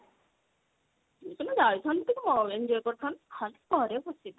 ତମେ ଯାଇଥାନ୍ତ ଟିକେ enjoy କରିଥାନ୍ତ ଖାଲି ଘରେ ବସିବି